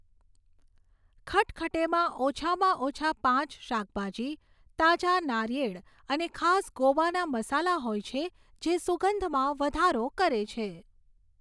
ખટખટેમાં ઓછામાં ઓછા પાંચ શાકભાજી, તાજા નારિયેળ અને ખાસ ગોવાના મસાલા હોય છે જે સુગંધમાં વધારો કરે છે.